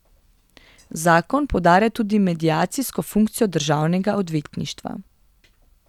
Zakon poudarja tudi mediacijsko funkcijo državnega odvetništva.